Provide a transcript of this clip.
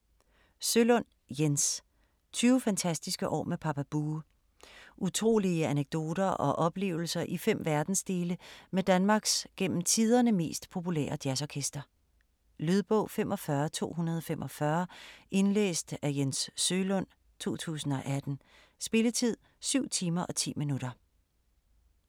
Sølund, Jens: 20 fantastiske år med Papa Bue Utrolige anekdoter og oplevelser i fem verdensdele med Danmarks gennem tiderne mest populære jazzorkester. Lydbog 45245 Indlæst af Jens Sølund, 2018. Spilletid: 7 timer, 10 minutter.